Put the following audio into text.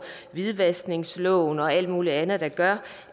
hvidvaskningsloven og alt muligt andet der gør